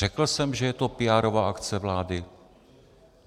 Řekl jsem, že je to píárová akce vlády?